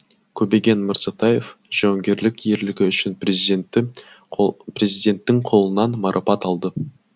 көбеген мырзатаев жауынгерлік ерлігі үшін президенттің қолынан марапат алды